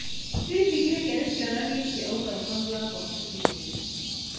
Hihi gĩkĩ nĩ kĩonania kĩa ũgayũkanu wa ngwatanĩro ĩyo.